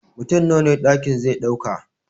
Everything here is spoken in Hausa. Mutum Nawa ɗakin ze ɗauka